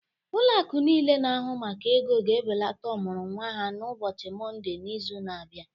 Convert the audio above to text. Ụlọ akụ niile na-ahụ maka ego ga-ebelata ọmụrụ nwa ha n'ụbọchị Mọnde n'izu na-abịa